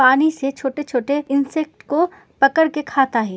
पानी से छोटे-छोटे इन्सेक्ट को पकड़ के खाता है।